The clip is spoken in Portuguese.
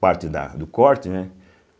parte da do corte, né?